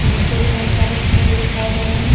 नीचे भी बहोत सारे फूल दिखाई दे रहे हैं।